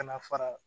Ka na fara